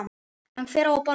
En hver á að borga?